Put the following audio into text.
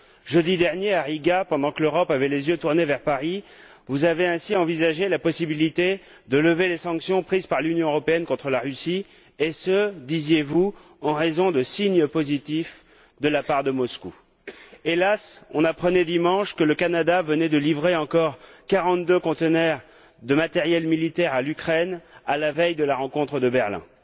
Jeudi dernier, à Riga, pendant que l'Europe avait les yeux tournés vers Paris, vous avez ainsi envisagé la possibilité de lever les sanctions prises par l'Union européenne contre la Russie, et ce, disiez vous, en raison de signes positifs de la part de Moscou. Hélas, on apprenait dimanche que le Canada venait de livrer encore quarante deux conteneurs de matériel militaire à l'Ukraine, à la veille de la rencontre de Berlin.